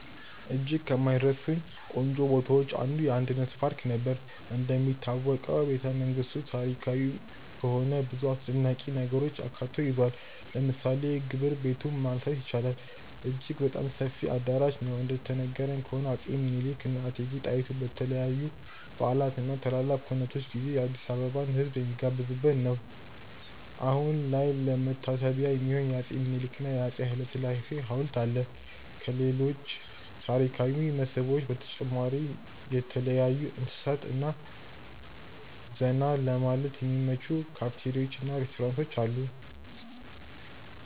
እጅግ ከማይረሱኝ ቆንጆ ቦታዎች አንዱ: የአንድነት ፓርክ ነበር። እንደሚታወቀው ቤተመንግስቱ ታሪካዊ በመሆኑ ብዙ አስደናቂ ነገሮችን አካቶ ይዟል። ለምሳሌ የግብር ቤቱን ማንሳት ይቻላል፦ አጅግ በጣም ሰፊ አዳራሽ ነው፤ እንደተነገረን ከሆነ አፄ ምኒልክ እና እቴጌ ጣይቱ በተለያዩ በዓላት እና ትላልቅ ኩነቶች ጊዜ የአዲስአበባን ህዝብ የሚጋብዙበት ነበር። አሁን ላይ ለመታሰቢያ የሚሆን የአፄ ምኒልክ እና የአፄ ሀይለስላሴ ሀውልት አለ። ከሌሎች ታሪካዊ መስህቦች በተጨማሪ የተለያዩ እንስሳት እና ዘና ለማለት የሚመቹ ካፍቴሪያዎች እና ሬስቶራንቶች አሉ።